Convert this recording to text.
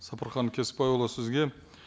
сапархан кесікбайұлы сізге